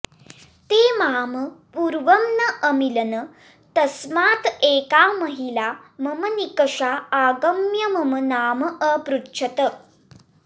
ते मां पूर्वं न अमिलन् तस्मात् एका महिला मम निकषा आगम्य मम नाम अपृच्छत्